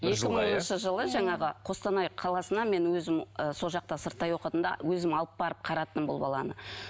екі мыңыншы жылы жаңағы қостанай қаласына мен өзім ы сол жақта сырттай оқыдым да өзім алып барып қараттым бұл баланы